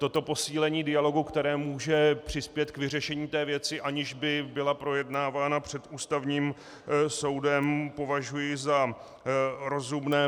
Toto posílení dialogu, které může přispět k vyřešení té věci, aniž by byla projednávána před Ústavním soudem, považuji za rozumné.